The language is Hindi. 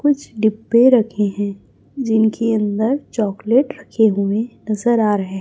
कुछ डब्बे रखे हैं जिनके अंदर चॉकलेट रखे हुए नजर आ रहे--